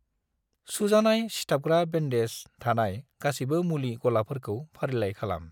सुजानाय सिथाबग्रा बेन्डेज थानाय गासिबो मुलि गलाफोरखौ फारिलाइ खालाम।